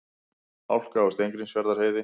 Hálka á Steingrímsfjarðarheiði